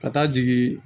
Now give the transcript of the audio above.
Ka taa jigin